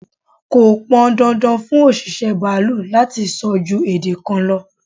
Kọ pọn dandan fún òṣìṣẹ́ baalú láti so ju èdè kan lọ.